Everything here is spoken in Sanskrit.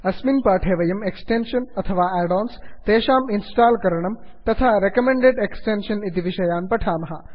अस्मिन् पाठे वयम् एक्स्टेन्षन् अथवा आड् आन्स् तेषां इन्स्टाल् करणं तथा रेकमेण्डेड् एक्स्टेन्षन् इति विषयान् पठामः